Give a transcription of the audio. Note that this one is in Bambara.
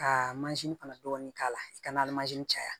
Ka fana dɔɔnin k'a la i ka na caya